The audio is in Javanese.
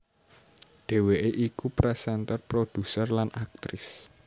Dhéwéké iku présénter produser lan aktris